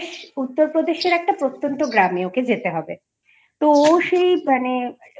উত্তরপ্রদেশের একটা প্রত্যন্ত গ্রামে ওকে যেতে হবে তো ও সেই মানে